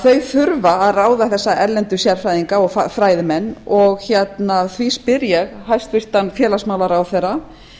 þau þurfa að ráða þessa erlendu sérfræðinga og fræðimenn og því spyr ég hæstvirtan félagsmálaráðherra